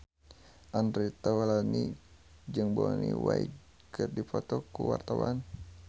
Andre Taulany jeung Bonnie Wright keur dipoto ku wartawan